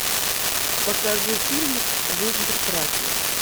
покажи фильмик жизнь прекрасна